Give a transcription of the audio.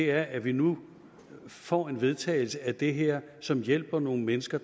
er at vi nu får en vedtagelse af det her som hjælper nogle mennesker